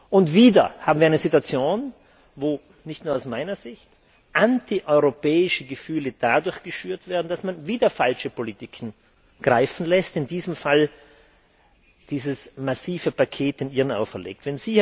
Und wieder haben wir eine Situation, wo nicht nur aus meiner Sicht anti europäische Gefühle dadurch geschürt werden, dass man wieder falsche Politiken greifen lässt, in diesem Fall den Iren dieses massive Paket auferlegt.